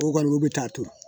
O kɔni o bɛ taa turu